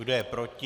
Kdo je proti?